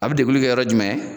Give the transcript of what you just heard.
A bɛ deguli kɛ yɔrɔ jumɛn?